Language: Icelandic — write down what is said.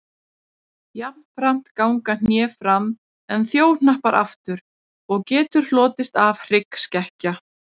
Jafnframt ganga hné fram en þjóhnappar aftur og getur hlotist af því hryggskekkja.